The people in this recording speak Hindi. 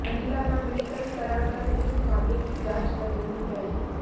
महिला का मेडिकल करा कर पुलिस मामले की जांच कर रही है